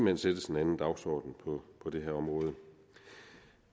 hen sættes en anden dagsorden på det her område